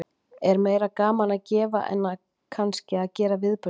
Er meira gaman að gefa en að kannski að gera viðburðinn?